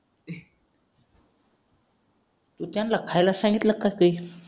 तू त्यांना खायला सांगितलं का ते